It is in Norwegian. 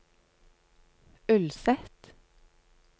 Ulset